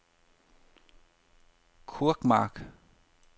Kurkmark